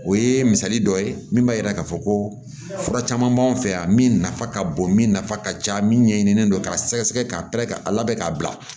O ye misali dɔ ye min b'a jira k'a fɔ ko fura caman b'an fɛ yan min nafa ka bon min nafa ka ca min ɲɛɲinilen don k'a sɛgɛsɛgɛ k'a pɛrɛn-kɛri a labɛn k'a bila